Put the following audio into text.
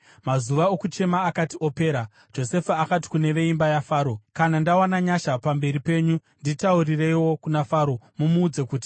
Mazuva okuchema akati apera, Josefa akati kune veimba yaFaro, “Kana ndawana nyasha pamberi penyu, nditaurireiwo kuna Faro. Mumuudze kuti,